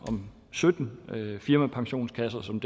sytten firmapensionskasser som